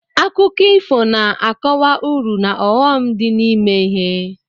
Akụkọ ifo na-akọwa uru na ọghọm dị n'ime ihe.